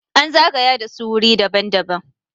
an zagaya da su wuri daban- daban